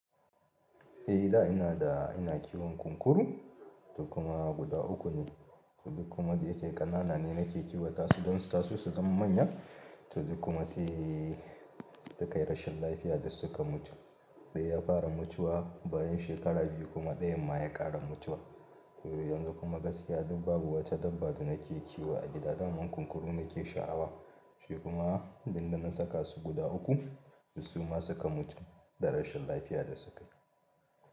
Eh da ina da ina kiwon kunkuru da kuma guda uku ne, to duk kuma da yake ƙanana ne nake kiwata su don su tasu su zama manya. To duk kuma sai suka yi rashin lafiya duk suka mutu. Ɗaya ya fara mutuwa bayan shekara biyu kuma ɗayan ma ya ƙara mutuwa. To yanzu kuma gaskiya duk babu wata dabba da nake kiwo a gida daman kunkuru nake sha'awa. Shi kuma idan na saka su guda uku duk su ma suka mutu da rashin lafiya da suka yi.